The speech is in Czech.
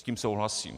S tím souhlasím.